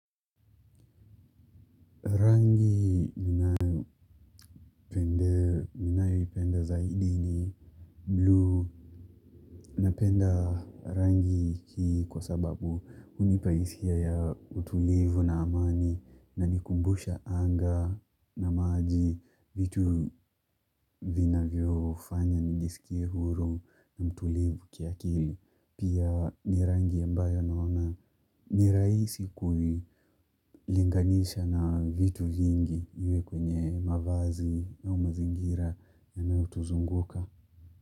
Zahidi ni blue. Napenda rangi hii kwa sababu hunipa hisia ya utulivu na amani, na inanikumbusha anga na maji, vitu vinavyofanya nijisikie huru na mtulivu kila siku. Pia ni rangi ambayo naona. Ni rahisi kulinganisha na vitu vingi, iwe kwenye mavazi na mazingira yanayotuzunguka.